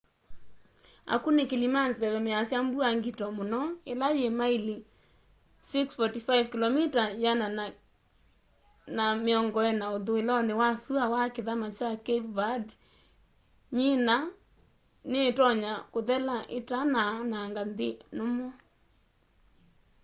akunikili ma nzeve measya mbua ngito mũno ila yi maili 645 kĩlomita 1040 ũthũĩlonĩ wa syũa wa kithama kya cape verde nyina ni itonya kũthela itanaanang'a nthi nũmũ